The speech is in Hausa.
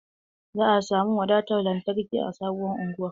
Za a samu watan lantarki a sabon unguwar.